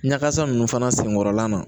Ɲagasa nunnu fana senkɔrɔla na